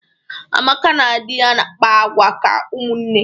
Amaka na dị ya na-akpa agwa ka ụmụnne.